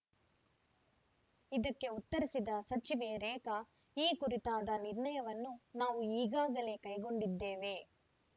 ಇದಕ್ಕೆ ಉತ್ತರಿಸಿದ ಸಚಿವೆ ರೇಖಾ ಈ ಕುರಿತಾದ ನಿರ್ಣಯವನ್ನು ನಾವು ಈಗಾಗಲೇ ಕೈಗೊಂಡಿದ್ದೇವೆ